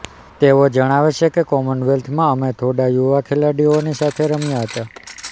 તેઓ જણાવે છે કે કોમનવેલ્થમાં અમે થોડા યુવા ખેલાડીઓની સાથે રમ્યા હતા